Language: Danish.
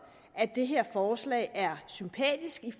at det her forslag er sympatisk